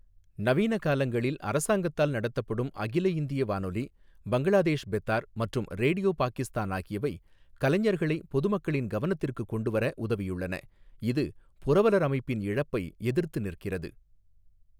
நவீன காலங்களில், அரசாங்கத்தால் நடத்தப்படும் அகில இந்திய வானொலி, பங்களாதேஷ் பெத்தார் மற்றும் ரேடியோ பாக்கிஸ்தான் ஆகியவை கலைஞர்களை பொதுமக்களின் கவனத்திற்கு கொண்டு வர உதவியுள்ளன, இது புரவலர் அமைப்பின் இழப்பை எதிர்த்து நிற்கிறது.